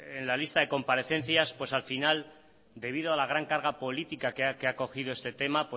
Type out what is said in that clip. en la lista de comparecencias pues al final debido a la gran carga política que ha cogido este tema